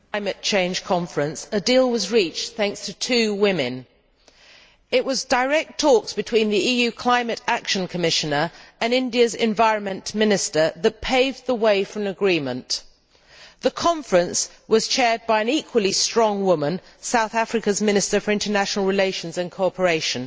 Mr President, a deal was reached at the Climate Change Conference thanks to two women. It was direct talks between the EU Climate Action Commissioner and India's Environment Minister that paved the way for an agreement. The Conference was chaired by an equally strong woman, South Africa's Minister for International Relations and Cooperation,